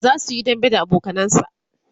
zasuyi dambe da abokanansa